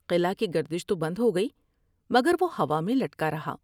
قلعہ کی گردش تو بند ہوگئی مگر وہ ہوا میں لڑکا رہا ۔